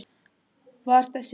Var þess virði!